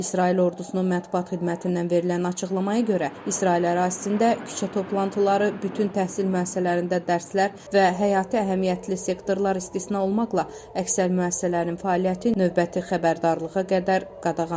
İsrail ordusunun mətbuat xidmətindən verilən açıqlamaya görə, İsrail ərazisində küçə toplantıları, bütün təhsil müəssisələrində dərslər və həyati əhəmiyyətli sektorlar istisna olmaqla, əksər müəssisələrin fəaliyyəti növbəti xəbərdarlığa qədər qadağandır.